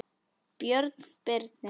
Björn Birnir.